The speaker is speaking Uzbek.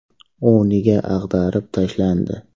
U nega ag‘darib tashlandi?.